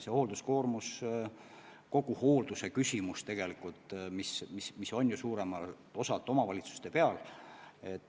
Kogu hoolduse küsimus tegelikult on suuremalt jaolt omavalitsuste peal.